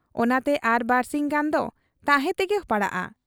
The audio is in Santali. ᱚᱱᱟᱛᱮ ᱟᱨ ᱵᱟᱹᱨᱥᱤᱧ ᱜᱟᱱ ᱫᱚ ᱛᱟᱦᱮᱸ ᱛᱮᱜᱮ ᱯᱟᱲᱟᱣᱜ ᱟ ᱾